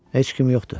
Heç kim yoxdur.